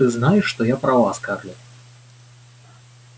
ты знаешь что я права скарлетт